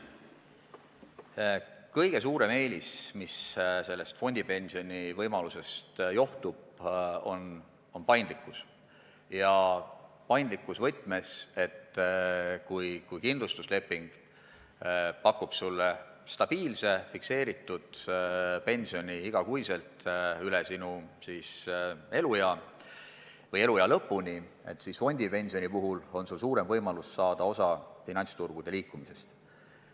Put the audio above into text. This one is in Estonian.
Kõige suurem eelis, mis fondipensioni võimalusest johtub, on paindlikkus – paindlikkus selles võtmes, et kindlustusleping pakub sulle igakuist stabiilset, fikseeritud pensioni eluea lõpuni, kuid fondipensioni puhul on sul suurem võimalus saada osa finantsturgude liikumisest.